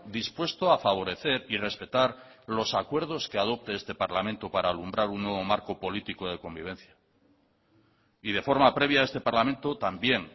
dispuesto a favorecer y respetar los acuerdos que adopte este parlamento para alumbrar un nuevo marco político de convivencia y de forma previa este parlamento también